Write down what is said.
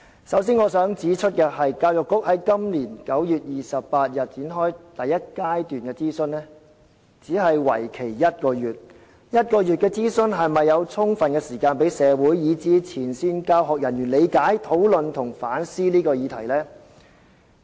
首先，我想指出，教育局今年9月28日展開中史課程第一階段諮詢，但為期短短1個月的諮詢能否給予社會及前線教育人員充分時間，理解、討論和反思這個議題？